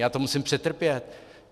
Já to musím přetrpět.